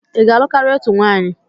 I ga-alụ karịa otu nwaanyị?